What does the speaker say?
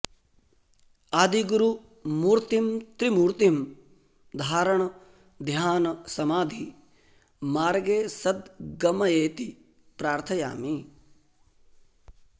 आदिगुरु मूर्तिं त्रिमूर्तिं धारण ध्यान समाधि मार्गे सद्गमयेति प्रार्थयामि